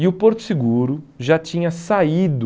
E o Porto Seguro já tinha saído